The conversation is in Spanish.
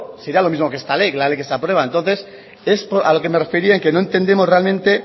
sería lo mismo que esta ley que la ley que se aprueba entonces es a lo que me refería en que no entendemos realmente